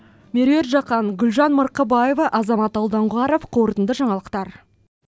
меруерт жақан гүлжан марқабаева азамат алдоңғаров қорытынды жаңалықтар